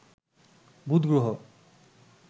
বুধ গ্রহ